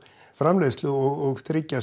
framleiðslu og tryggja